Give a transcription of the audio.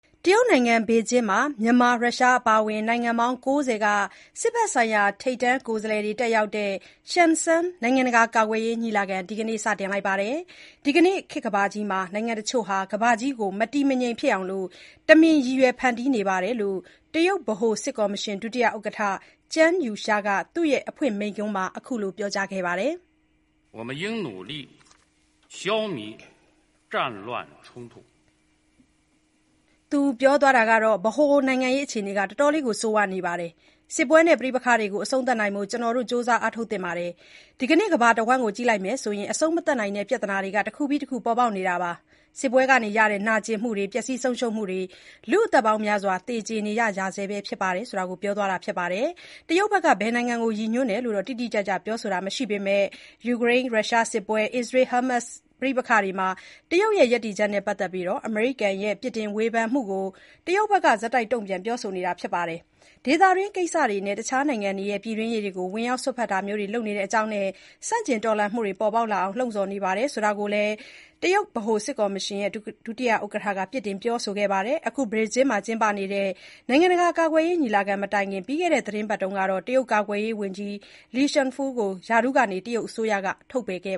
တရုတ်နိုင်ငံ ဘေကျင်းမြို့တော်မှာ မြန်မာ၊ ရုရှား အပါအ၀င် နိုင်ငံပေါင်း (၉၀) က စစ်ဘက်ဆိုင်ရာ ထိပ်တန်းကိုယ်စားလှယ်တွေတက်ရောက်တဲ့ Xiangshan (ရှန်စန်း) နိုင်ငံတကာ ကာကွယ်ရေးညီလာခံကိုဒီကနေ့ (အောက်တိုဘာ ၃၀) စတင်လိုက်ပါတယ်။ ဒီနေ့ခေတ်ကမ္ဘာကြီးမှာ နိုင်ငံတချို့ဟာ ကမ္ဘာကြီး မတည်မငြိမ်ဖြစ်အောင် တမင်ရည်ရွယ်ဖန်တီးနေတယ်လို့ တရုတ်ဗဟိုစစ်ကော်မရှင် ဒုတိယ ဥက္ကဋ္ဌ Zhang Youxia (ကျန်းယူရှား) က သူ့ရဲ့အဖွင့်မိန့်ခွန်းမှာ အခုလို ပြောကြားခဲ့ပါတယ်။ “ပထဝီနိုင်ငံရေးအခြေအနေက ဆိုးရွားနေပါတယ်။ စစ်ပွဲနဲ့ ပဋိပက္ခတွေကို အဆုံးသတ်ဖို့ ကျနော်တို့ ကြိုးစားအားထုတ်သင့်ပါတယ်။ ဒီကနေ့ ကမ္ဘာတဝန်းကို ကြည့်လိုက်မယ်ဆိုရင် အဆုံးမသတ်နိုင်တဲ့ ပြဿနာတွေ တခုပြီး တခုပေါ်ပေါက်နေတာပါ။ စစ်ပွဲတွေကရတဲ့ နာကျင်မှုတွေ၊ ပျက်ဆီးဆုံးရှုံးမှုတွေ၊ လူ့အသက်ပေါင်းများစွာ သေကြေနေကြရဆဲပါ။”လို့ ပြောသွားတာပါ။ ဘယ်နိုင်ငံတွေကို ရည်ညွန်းတယ်လို့တော့ တိတိကျကျပြောဆိုတာမရှိပေမဲ့ ယူကရိန်း-ရှရှားစစ်ပွဲနဲ့ အစ္စရေး ဟာမတ်စ် ပဋိပက္ခတွေမှာ တရုတ်ရဲ့ ရပ်တည်ချက်နဲ့ ပတ်သက်ပြီးတော့ အမေရိကန်ရဲ့ ပြစ်တင်ဝေဖန်မှုကို တရုတ်က ဆက်တိုက်တုံ့ပြန်ပြောဆိုနေတာပါ။ ဒေသတွင်းကိစ္စတွေနဲ့ တခြားနိုင်ငံတွေရဲ့ ပြည်တွင်းရေးတွေကို ဝင်ရောက်စွက်ဖက်တာတွေလုပ်နေတဲ့အကြောင်းနဲ့ ဆန့်ကျင်တော်လှန်မှုတွေပေါ်ပေါက်လာအောင် လှုံ့ဆော်နေတယ်လို့ ကျန်းက ပြစ်တင်ပြောဆိုခဲ့ပါတယ်။ အခုဘေကျင်းမှာကျင်းပနေတဲ့ နိုင်ငံတကာ ကာကွယ်ရေးညီလာခံမတိုင်ခင် ပြီးခဲ့တဲ့ သီတင်းပတ်ထဲမှာ ကာကွယ်ရေးဝန်ကြီး Li Shangfu ကို ရာထူးကနေ တရုတ်အစိုးရက ထုတ်ပယ်ခဲ့